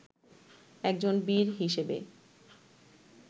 একজন বীর হিসেবে